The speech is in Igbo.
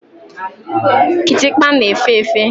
Kitikpa na-efe efe.